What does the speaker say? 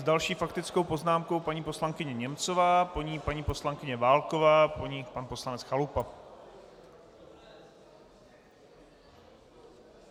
S další faktickou poznámkou paní poslankyně Němcová, po ní paní poslankyně Válková, po ní pan poslanec Chalupa.